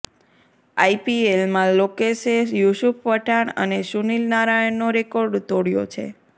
આઈપીએલમાં લોકેશે યુસુફ પઠાણ અને સુનીલ નારાયણનો રેકોર્ડ તોડ્યો છે